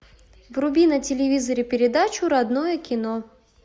вруби на телевизоре передачу родное кино